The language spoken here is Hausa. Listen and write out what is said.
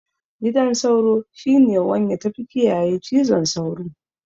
Gidan sauro shine wanya da tafi kiyaye cizon sauro